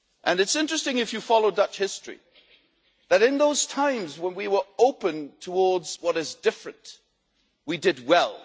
It's interesting, if you follow Dutch history, that in those times when we were open towards what is different, we did well.